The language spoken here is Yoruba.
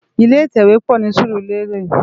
Ilé itèwé pò ni Surulere